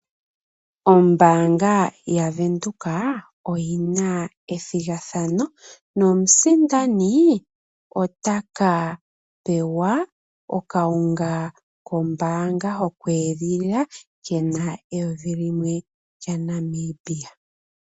Ombaanga ya venduka oyina ethigathano nomusindani otaka pewa okawunga kombaanga yo kweedhilila kena eyovi limwe lya Namibia.